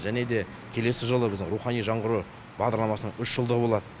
және де келесі жылы біздің рухани жаңғыру бағдарламасының үш жылдығы болады